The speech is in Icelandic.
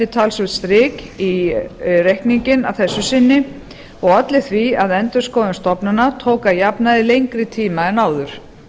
talsvert strik í reikninginn að þessu sinni og olli því að endurskoðun stofnana tók að jafnaði lengri tíma en áður